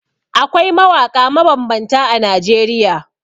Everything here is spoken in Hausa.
Akwai mawaƙa mabambanta a Najeriya.